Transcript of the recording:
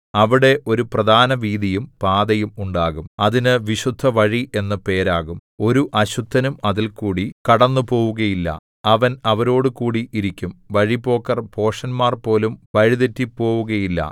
അവിടെ ഒരു പ്രധാനവീഥിയും പാതയും ഉണ്ടാകും അതിന് വിശുദ്ധവഴി എന്നു പേരാകും ഒരു അശുദ്ധനും അതിൽകൂടി കടന്നുപോവുകയില്ല അവൻ അവരോടുകൂടി ഇരിക്കും വഴിപോക്കർ ഭോഷന്മാർപോലും വഴിതെറ്റിപ്പോവുകയില്ല